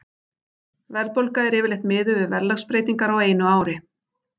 Verðbólga er yfirleitt miðuð við verðlagsbreytingar á einu ári.